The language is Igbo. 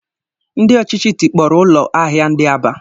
Ndị ọchịchị tikpọrọ ụlọ ahịa ndị Aba